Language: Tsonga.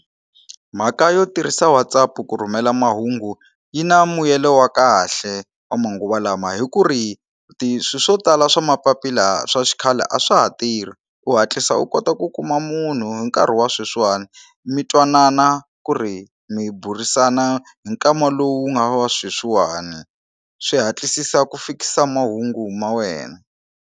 Mhaka yo tirhisa WhatsApp ku rhumela mahungu yi na mbuyelo wa kahle wa manguva lama hi ku ri ti swilo swo tala swa mapapila swa xikhale a swa ha tirhi u hatlisa u ku kota ku kuma munhu hi nkarhi wa sweswiwani mi twanana ku ri mi burisana hi nkama lowu nga wa sweswiwani swi hatlisisa ku fikisa mahungu ma wena.